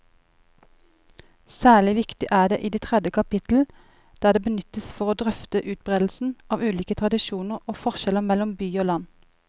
Særlig viktig er det i tredje kapittel, der det benyttes for å drøfte utbredelsen av ulike tradisjoner og forskjeller mellom by og land.